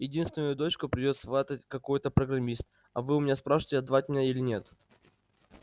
единственную дочку придёт сватать какой-то программист а вы у меня спрашиваете отдавать меня или нет